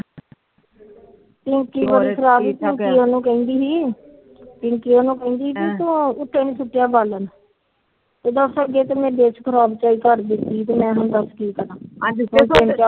ਕ ਠੀਕ ਠਾਕ ਪੀਂਕੀ ਉਹਨੂੰ ਕਹਿੰਦੀ ਤੇ ਦੱਸ ਮੈ ਹੁਣ ਦਸ ਕੀ ਕਰਾ